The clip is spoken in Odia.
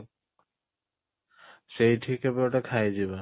ସେଇଠି କେବେ ଗୋଟେ ଖାଇ ଯିବା